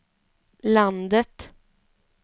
landet